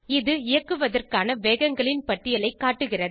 இது இயக்குவதற்கான வேகங்களின் பட்டியலைக் காட்டுகிறது